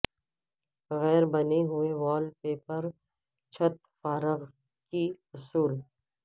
غیر بنے ہوئے وال پیپر چھت فارغ کی اصول